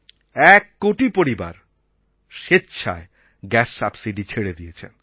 এক কোটি পরিবার স্বেচ্ছায় গ্যাস সাবসিডি ছেড়ে দিয়েছেন